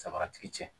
Samaratigi cɛ